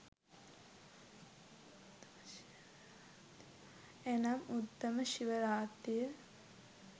එනම් උත්තම ශිව රාත්‍රිය